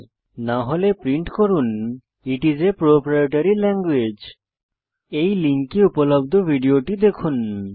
অন্যথায় প্রিন্ট করুন it's a proprietary language এই লিঙ্কে উপলব্ধ ভিডিওটি দেখুন